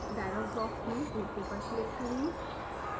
dialogue box में ok पर click करें